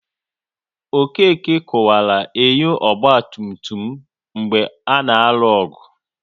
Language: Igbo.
Okeke kuwaru enyo ọgba tum tum m mgbe a na-alụ ọgụ